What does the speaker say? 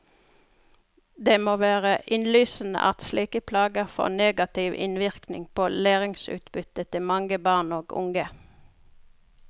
Det må være innlysende at slike plager får negativ innvirkning på læringsutbyttet til mange barn og unge.